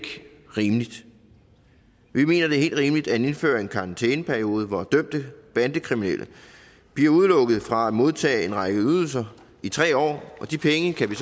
rimeligt vi mener det er helt rimeligt at indføre en karantæneperiode hvor dømte bandekriminelle bliver udelukket fra at modtage en række ydelser i tre år og de penge kan vi